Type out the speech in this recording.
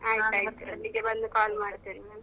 ಆಯ್ತು ಆಯ್ತು ಅಲ್ಲಿಗೆ ಬಂದು call ಮಾಡ್ತೇನೆ ನಾನು.